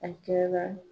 A kɛra